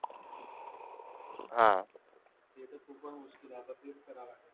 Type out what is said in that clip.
हा ते तर खूपच मुश्कील आहे आता तेच करावे लागेल